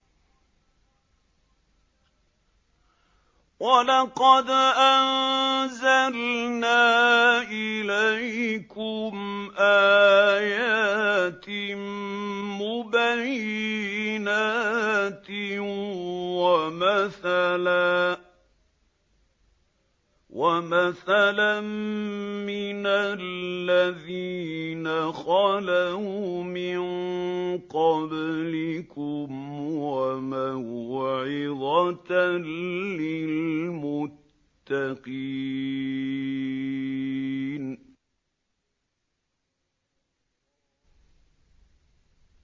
وَلَقَدْ أَنزَلْنَا إِلَيْكُمْ آيَاتٍ مُّبَيِّنَاتٍ وَمَثَلًا مِّنَ الَّذِينَ خَلَوْا مِن قَبْلِكُمْ وَمَوْعِظَةً لِّلْمُتَّقِينَ